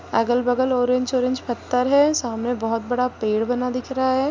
अगल-बगल orange orange पत्थर है सामने बहुत बड़ा पेड़ बना दिख रहा है।